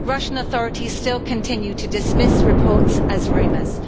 But Russian authorities still continue to dismiss reports as rumours.